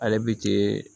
Ale bi ten